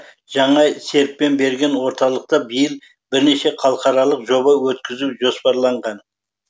жаңа серпін берген орталықта биыл бірнеше халықаралық жоба өткізу жоспарланған